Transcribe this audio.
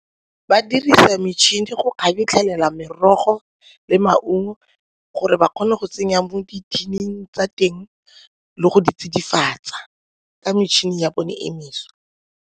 Ba dirisa metšhini go kgabetlhelela merogo le maungo gore ba kgone go tsenya mo di-tin-ing tsa teng le go di tsidifatsa ka metšhini ya bone e mešwa.